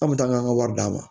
An bɛ taa an ka an ka wari d'a ma